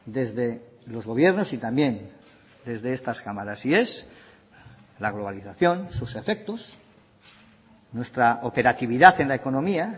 desde los gobiernos y también desde estas cámaras y es la globalización sus efectos nuestra operatividad en la economía